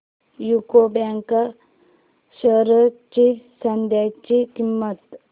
UCO bank shares ची सध्याची किंमत